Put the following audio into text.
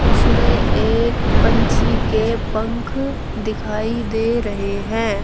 उसमें एक पंछी के पंख दिखाई दे रहे हैं।